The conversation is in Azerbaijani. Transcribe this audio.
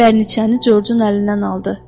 bərniçəni Corcun əlindən aldı.